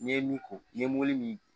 N'i ye min ko i ye mobili min